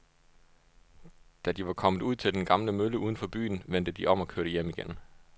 Da de var kommet ud til den gamle mølle uden for byen, vendte de om og kørte hjem igen.